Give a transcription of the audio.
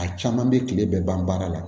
A caman bɛ tile bɛɛ ban baara la